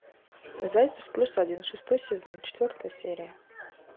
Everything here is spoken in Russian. зайцев плюс один шестой сезон четвертая серия